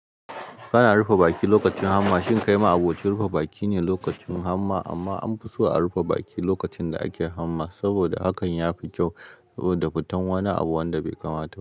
Ana rufe baki lokacin hamma. Shin kai ma aboci rufe baki ne lokacin hamma? Amma an fi so a rufe baki lokacin da ake hamma, saboda hakan ya fi kyau da fitan wani abu wanda bai kamata.